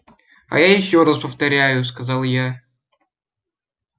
а я ещё раз повторяю сказал я